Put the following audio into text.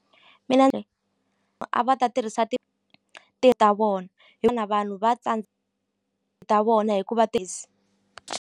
Mina a va ta tirhisa ta vona vanhu va tsandza ta vona hikuva .